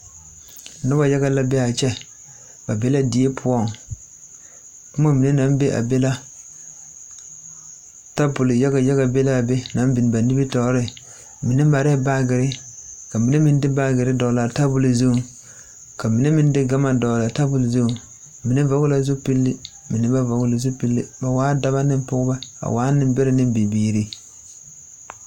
Noba yaga la be a kyɛ ba be la die poɔŋ boma mine naŋ be a be la tabol yaga yaga be la a be naŋ biŋ ba nimitɔɔreŋ mine marɛɛ baagere ka mine meŋ de baagere dɔglaa tabol zuŋ kamine meŋ de gama dɔglaa tabol zuŋ mine vɔgle la zupili mine ba vɔgle zupili ba waa daba ne pɔgeba ba waa nenbɛrɛ ne bibiiri.